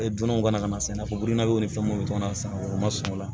Dunanw kana na sɛnɛko na o ni fɛn munnu be to la sisan o ma sɔn o la